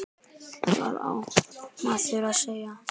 Hvað á maður að segja?